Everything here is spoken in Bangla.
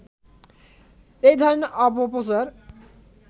এই ধরনের অপপ্রচার